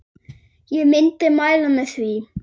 Ég myndi mæla með því.